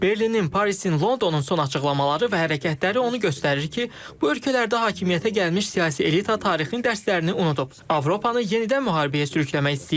Berlinin, Parisin, Londonun son açıqlamaları və hərəkətləri onu göstərir ki, bu ölkələrdə hakimiyyətə gəlmiş siyasi elita tarixin dərslərini unudub, Avropanı yenidən müharibəyə sürükləmək istəyirlər.